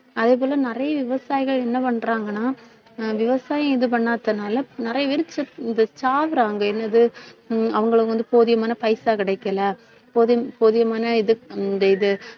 அதே போல, நிறைய விவசாயிகள் என்ன பண்றாங்கன்னா ஆஹ் விவசாயம் இது பண்ணாததுனால, நிறைய பேர் செத்~ இந்த சாகறாங்க என்னது உம் அவங்களுக்கு வந்து போதியமான பைசா கிடைக்கலை போதியம்~ போதியமான இது இந்த இது